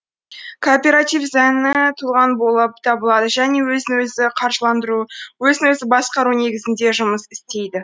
кооператив заңы тұлға болып табылады және өзін өзі қаржыландыру өзін өзі басқару негізінде жұмыс істейді